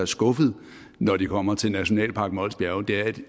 skuffede når de kommer til nationalpark mols bjerge det er et